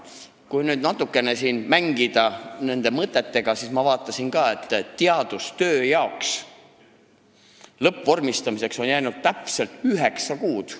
Kui nüüd natukene mõtetega mängida, siis ma vaatasin, et teadustöö lõppvormistamiseks on jäänud täpselt üheksa kuud.